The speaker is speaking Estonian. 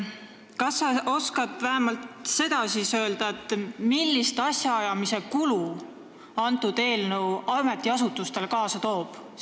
Kas sa oskad vähemalt seda öelda, milliseid kulutusi asjaajamisele see eelnõu ametiasutustele kaasa toob?